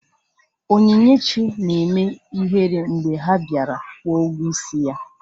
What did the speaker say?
Onyinyechi na-eme ihere mgbe ha bịara kwụọ ụgwọ ịsị ya